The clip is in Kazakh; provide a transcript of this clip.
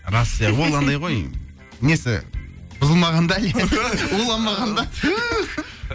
рас иә ол анандай ғой несі бұзылмаған да әлі уланбаған да